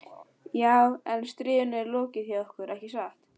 Já, en stríðinu er lokið hjá okkur, ekki satt?